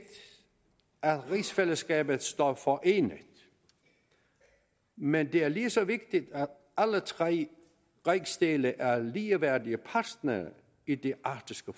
at rigsfællesskabet står forenet men det er lige så vigtigt at alle tre rigsdele er ligeværdige partnere i det arktiske